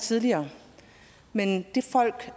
tidligere men de folk